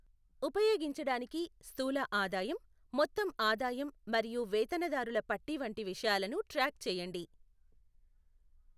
ఉపయోగించడానికి, స్థూల ఆదాయం, మొత్తం ఆదాయం మరియు వేతనదారుల పట్టీ వంటి విషయాలను ట్రాక్ చేయండి.